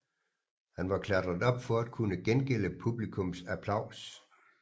Han var klatret op for at kunne gengælde publikums applaus